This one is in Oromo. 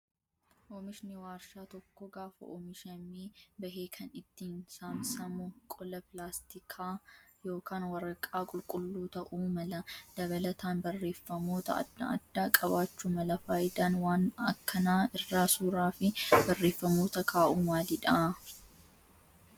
Oomishni warshaa tokkoo gaafa oomishamee bahe kan ittiin saamsamamu qola pilaastikaa yookaan waraqaa qulqulluu ta'uu mala. Dabalataan barreeffamoot adda addaa qabaachuu mala. Fayidaan waan akkanaa irra suuraa fi barreeffamoota kaa'uu maalidhaa?